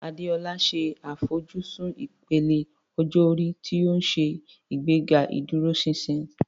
Adeola ṣe àfojúsùn ìpele ọjọ́ orí tí ó ń ṣe ìgbéga ìdúróṣinṣin.